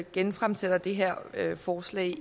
genfremsætter det her forslag